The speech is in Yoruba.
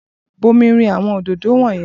Bu omi rin àwọn òdòdó wọ̀nyẹn!